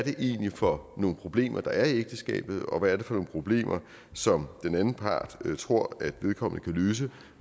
for nogle problemer der er i ægteskabet og hvad det er for nogle problemer som den anden part tror at vedkommende kan løse